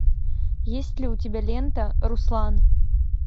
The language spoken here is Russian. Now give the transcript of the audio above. есть ли у тебя лента руслан